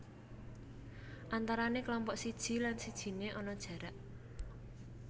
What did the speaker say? Antarané kelompok siji lan sijine ana jarak